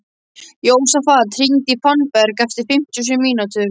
Jósafat, hringdu í Fannberg eftir fimmtíu og sjö mínútur.